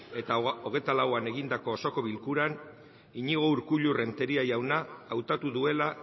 eta hogeita lauan egindako osoko bilkuran iñigo urkullu renteria jauna hautatu duela